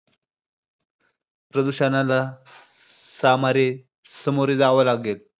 प्रदूषणाला सामारे~ सामोरे जावे लागेल.